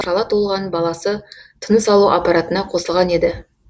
шала туылған баласы тыныс алу аппаратына қосылған еді